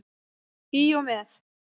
Í og með.